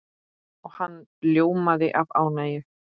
Og hann ljómaði af ánægju.